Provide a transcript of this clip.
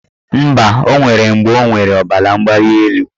Mba, o nwere mgbe ọ nwere ọbaramgbalịelu.